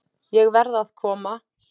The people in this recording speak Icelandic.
Ég verð að koma